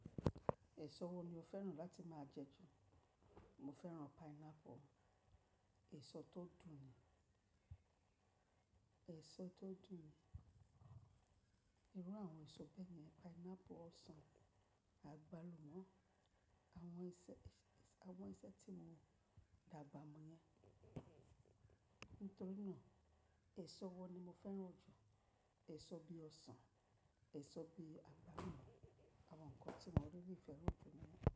Èso wo ni o fẹ́ràn láti máa jẹ jù? Mo fẹ́ràn pineapple, èso tó dùn ni. Ẹ̀so tó dùn ni. Irú àwọn èso bẹ́ẹ̀ ni pineapple, ọsàn, àgbálùmọ́. Àwọn iṣẹ́, àwọn iṣẹ́ tí mo dàgbà mọ yẹn. Nítorí náà èso wo ni mo fẹ́ràn jù? Èso bí i ọsàn, èso bí i àgbálùmọ́, àwọn nǹkan tí mo ríli fẹ́ràn jù lọ.